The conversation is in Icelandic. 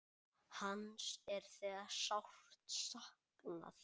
Hans er þegar sárt saknað.